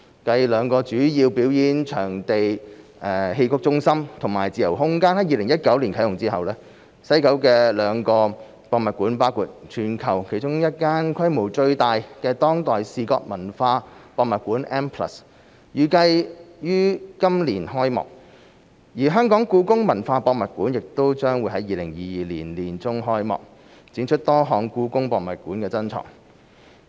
繼兩個主要表演藝術場地，即戲曲中心和自由空間在2019年啟用後，西九的兩個博物館，包括全球其中一間規模最大的當代視覺文化博物館 M+， 預計於今年開幕；而香港故宮文化博物館亦將於2022年年中開幕，展出多項故宮博物院珍藏。